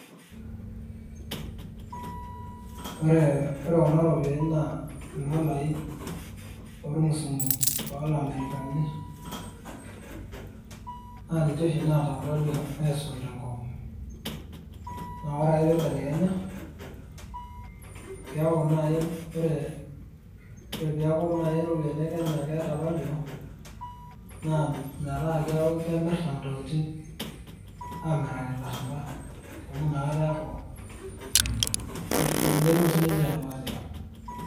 ore kuna ropiyiani naa idolai oormusunku, oolamerikani, naa ninche oshii naata faliu aisul te nkop. naa ore pee eibelekenya, keeku naai ore ppee eeku naai iropiyiani e Kenya metaa. keeku kemrta ntokitin, naa keeku sii ninche keeta faliu.